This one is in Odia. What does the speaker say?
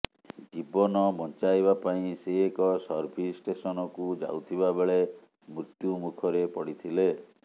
ଜୀବନ ବଞ୍ଚାଇବା ପାଇଁ ସେ ଏକ ସର୍ଭିସ ଷ୍ଟେସନକୁ ଯାଉଥିବା ବେଳେ ମୃତ୍ୟୁମୁଖରେ ପଡ଼ିଥିଲେ